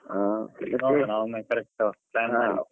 ಹಾ okay ಒಮ್ಮೆ correct plan ಮಾಡಿ.